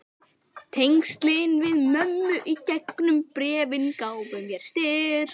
Tengslin við mömmu í gegnum bréfin gáfu mér styrk.